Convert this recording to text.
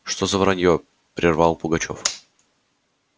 что за враньё прервал пугачёв